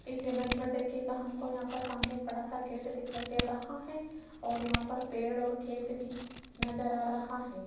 इस इमेज में देखिएगा हमको यहां पर सामने एक बड़ा सा गेट दिखाई दे रहा है और यहां पर पेड़ और खेत भी नजर आ रहा है।